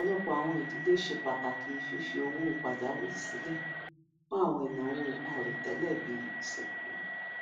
ọpọlọpọ àwọn idílé ṣe pàtàkì fífi àwọn owó pajàwìrì silẹ fún àwọn ináwó àìròtẹlẹ bíi ìsìnkú